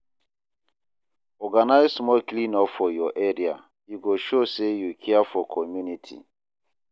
Organize small clean up for your area; e go show say you care for community.